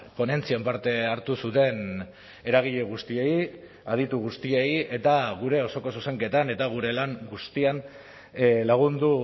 ponentzian parte hartu zuten eragile guztiei aditu guztiei eta gure osoko zuzenketan eta gure lan guztian lagundu